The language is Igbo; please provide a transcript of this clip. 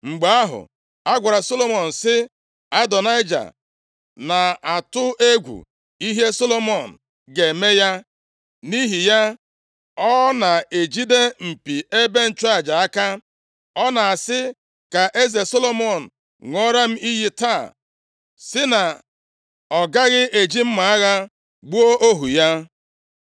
Mgbe ahụ, a gwara Solomọn sị, “Adonaịja na-atụ egwu ihe Solomọn ga-eme ya, nʼihi ya ọ na-ejide mpi ebe nchụaja aka. Ọ na-asị, ‘Ka eze Solomọn ṅụọra m iyi taa sị na ọ gaghị eji mma agha gbuo ohu ya.’ ”